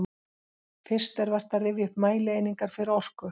Fyrst er vert að rifja upp mælieiningar fyrir orku.